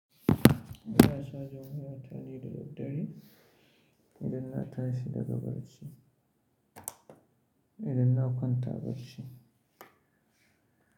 Ina cajin wayata ne da daddare, idan na tashi daga bacci, idan na kwanta.